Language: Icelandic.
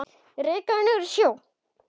Ég reikaði niður að sjó.